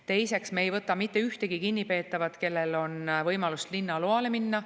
Teiseks, me ei võta mitte ühtegi kinnipeetavat, kellel on võimalus linnaloale minna.